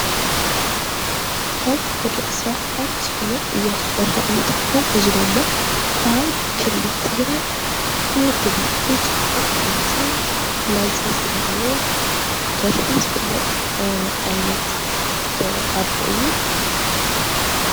ካብ ተፈለጥቲ ሰባት ዝኮኑ ኢያሱ በርሀ እንትኸውን እዚ ደሞ ኣብ ክልል ትግራይ ብፅቡቕ ድምፅን ላዛ ዘለዎ ደርፍን ዝፍለጥ ዓይነት ኣቦ እዩ፡፡